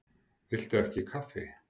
Viltu ekki kaffi?